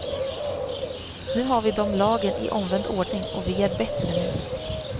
Nu har vi dom lagen i omvänd ordning och vi är bättre nu.